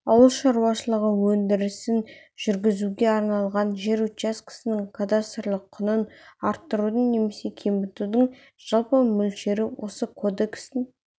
ауыл шаруашылығы өндірісін жүргізуге арналған жер учаскесінің кадастрлық құнын арттырудың немесе кемітудң жалпы мөлшері осы кодекстің